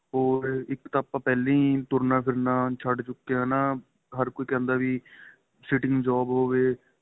ਹੋਰ ਇੱਕ ਤਾਂ ਆਪਾ ਪਹਿਲੇ ਹੀ ਤੁਰਨਾ ਫਿਰਨਾ ਛੱਡ ਚੁੱਕੇ ਏ ਹੈਨਾ ਹਰ ਕੋਈ ਕਹਿੰਦਾ ਵੀ sitting job ਹੋਵੇ